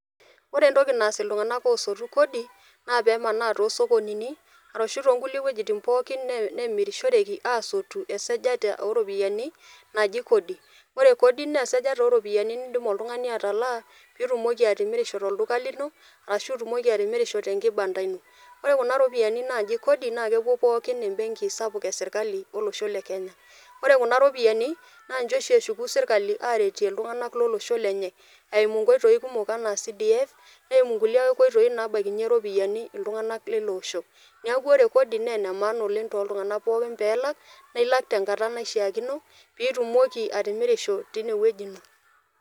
Ore entoki naas iltung'anak oosotu kodi naa peemanaa too sokonini arashu too nkulie wojitin pookin neemirishoreki aasotu esajata oo ropiani naaji kodi. Ore kodi naa esajata o ropiani nindim oltung'ani atalaa piitumoki atimirisho tolduka lino arashu itumoki atimirisho te nkibanda ino. Ore kuna ropiani naaji kodi naake eepuo pookin embenki sapuk e sirkali olosho le Kenya, ore kuna ropiani naa nche oshi eshuku serkali aaretie iltung'anak lolosho lenye eimu nkoitoi kumok enaa CDF, neimu nkulie oitoi naabakinye ropiani iltung'anak lilo osho. Neeku ore kodi naa ene maana oleng' tooltung'anak ppokin pee elak nae ilak tenkata naishaakino piitumoki atimirisho tine wueji ino.